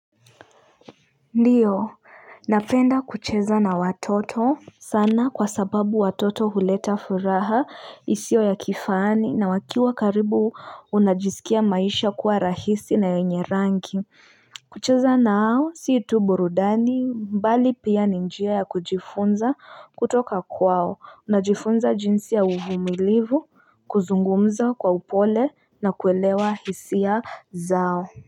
Ndio napenda kucheza na watoto sana kwa sababu watoto huleta furaha isiyo ya kifani na wakiwa karibu unajisikia maisha kuwa rahisi na yenye rangi kucheza nao sii tu burudani bali pia ni njia ya kujifunza kutoka kwao unajifunza jinsi ya uvumilivu kuzungumza kwa upole na kuelewa hisia zao.